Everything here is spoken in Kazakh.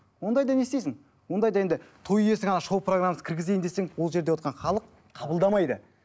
ондайда не істейсің ондайда енді той иесі шоу программасын кіргізейін десең ол жерде отырған халық қабылдамайды